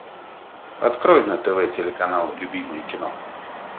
открой на тв телеканал любимое кино